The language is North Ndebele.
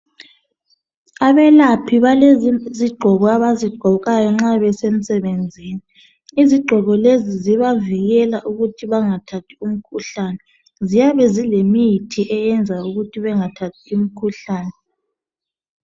Abelaphi balezigqoko abazigqokayo nxa besemsebenzini izigqoko lezi zibavikela ukuthi bengathathi imikhuhlane ziyabe zilemithi eyenza ukuthi bengathathi imikhuhlane.